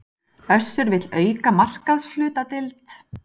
Össur vill auka markaðshlutdeild